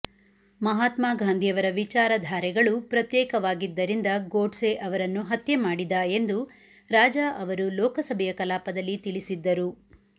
ಮಹಾತ್ಮಾ ಗಾಂಧಿಯವರ ವಿಚಾರಧಾರೆಗಳು ಪ್ರತ್ಯೇಕವಾಗಿದ್ದರಿಂದ ಗೋಡ್ಸೆ ಅವರನ್ನು ಹತ್ಯೆ ಮಾಡಿದ ಎಂದು ರಾಜಾ ಅವರು ಲೋಕಸಭೆಯ ಕಲಾಪದಲ್ಲಿ ತಿಳಿಸಿದ್ದರು